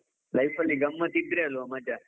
Life ಅಲ್ಲಿ ಗಮ್ಮತ್ ಇದ್ರೆ ಅಲ್ವಾ ಮಜಾ.